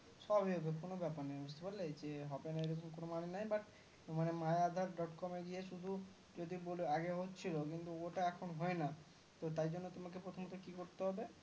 সব হয়ে যেতো কোনো ব্যাপার নাই বুজতে পারলে যে হবেনা বলে এরকম কোন মানে নাই but my aadhar dot com এ গিয়ে শুধু যদি বলে আগে হচ্ছিলো কিন্তু ওটা এখন হয়না তো তাই জন্যে তোমাকে প্রথম টা কি করতে হবে